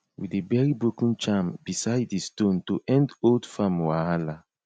we dey bury broken charm beside di stone to end old farm wahala